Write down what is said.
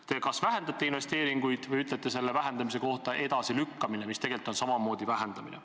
Te kas vähendate investeeringuid või ütlete selle vähendamise kohta edasilükkamine, mis tegelikult on samamoodi vähendamine.